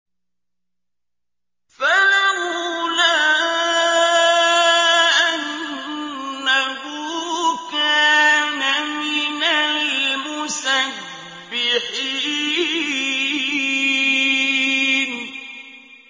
فَلَوْلَا أَنَّهُ كَانَ مِنَ الْمُسَبِّحِينَ